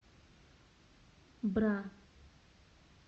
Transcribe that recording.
бра